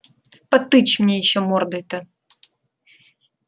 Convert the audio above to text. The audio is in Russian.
потычь мне ещё мордой-то